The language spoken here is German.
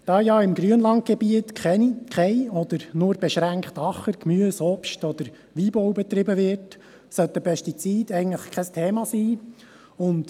Da ja im Grünlandgebiet kein oder nur beschränkt Acker-, Gemüse-, Obst- oder Weinbau betrieben wird, sollten Pestizide eigentlich kein Thema sein.